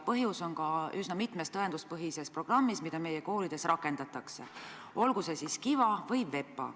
Põhjus on ka üsna mitmes tõenduspõhises programmis, mida meie koolides rakendatakse, olgu see KiVa või VEPA.